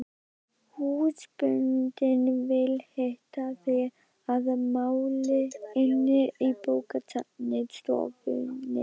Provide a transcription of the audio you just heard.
Húsbóndinn vill hitta þig að máli inni í bókastofunni.